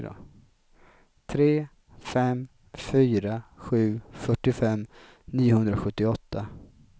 tre fem fyra sju fyrtiofem niohundrasjuttioåtta